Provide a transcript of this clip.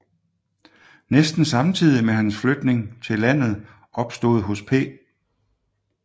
Næsten samtidig med hans Flytning til Landet opstod hos P